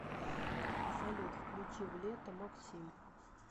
салют включи в лето максим